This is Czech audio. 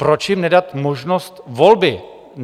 Proč jim nedat možnost volby?